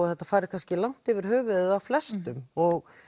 þetta fari kannski langt yfir höfuðið á flestum og